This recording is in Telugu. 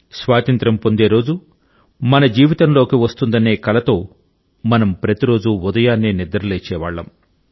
స్వాతంత్ర్యం పొందే రోజు మన జీవితంలోకి వస్తుందనే కలతో మనం ప్రతి రోజూ ఉదయాన్నే నిద్రలేచేవాళ్ళం